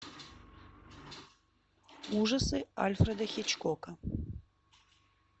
ужасы альфреда хичкока